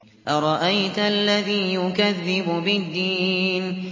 أَرَأَيْتَ الَّذِي يُكَذِّبُ بِالدِّينِ